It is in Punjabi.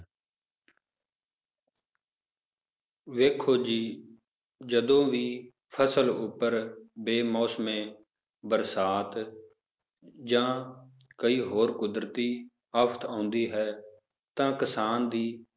ਵੇਖੋ ਜੀ ਜਦੋਂ ਵੀ ਫਸਲ ਉੱਪਰ ਬੇ-ਮੌਸਮੀ ਬਰਸ਼ਾਤ ਜਾਂ ਕਈ ਹੋਰ ਕੁਦਰਤੀ ਆਫ਼ਤ ਆਉਂਦੀ ਹੈ ਤਾਂ ਕਿਸਾਨ ਦੀ